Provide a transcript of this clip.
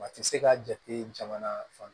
Wa ti se ka jate jamana fan